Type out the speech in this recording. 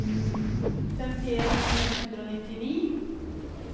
femtien tusen ett hundre og nittini